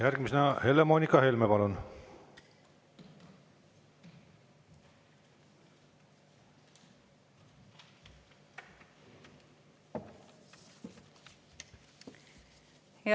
Järgmisena Helle-Moonika Helme, palun!